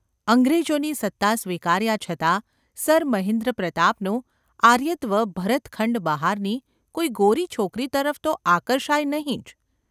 અંગ્રેજોની સત્તા સ્વીકાર્યા છતાં સર મહેન્દ્રપ્રતાપનું આર્યત્વ ભરતખંડ બહારની કોઈ ગોરી છોકરી તરફ તો આકર્ષાય નહિ જ.